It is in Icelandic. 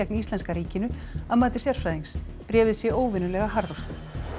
íslenska ríkinu að mati sérfræðings bréfið sé óvenjulega harðort